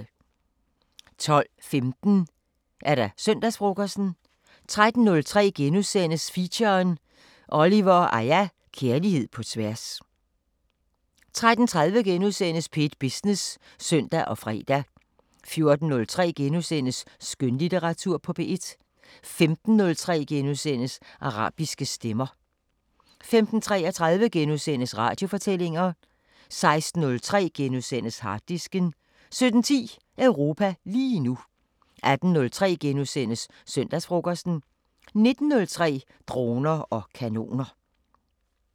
12:15: Søndagsfrokosten 13:03: Feature: Oliver & Aya – Kærlighed på tværs * 13:30: P1 Business *(søn og fre) 14:03: Skønlitteratur på P1 * 15:03: Arabiske Stemmer * 15:33: Radiofortællinger * 16:03: Harddisken * 17:10: Europa lige nu 18:03: Søndagsfrokosten * 19:03: Droner og kanoner